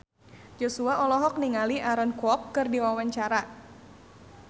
Joshua olohok ningali Aaron Kwok keur diwawancara